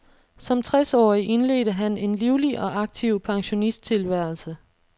Som tres årig indledte han en livlig og aktiv pensionisttilværelse.